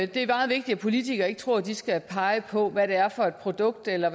det er meget vigtigt at politikere ikke tror at det skal pege på hvad det er for et produkt eller